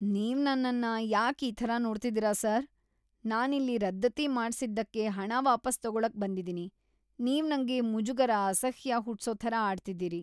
ನೀವ್ ನನ್ನನ್ನ ಯಾಕ್ ಈ ಥರ ನೋಡ್ತಿದೀರ ಸರ್? ನಾನಿಲ್ಲಿ ರದ್ದತಿ ಮಾಡ್ಸಿದ್ದಕ್ಕೆ ಹಣ ವಾಪಸ್‌ ತಗೊಳಕ್‌ ಬಂದಿದೀನಿ. ನೀವ್‌ ನಂಗೆ ಮುಜುಗರ‌, ಅಸಹ್ಯ ಹುಟ್ಸೋ ಥರ ಆಡ್ತಿದೀರಿ.